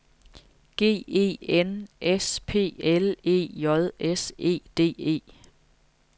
G E N S P L E J S E D E